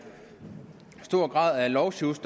stor grad af lovsjusk